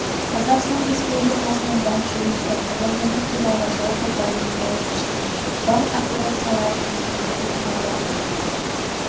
қазақстан республикасының банк жүйесі құрылымы туралы жалпы пайымдауды және банк операцияларының түрлері туралы айтады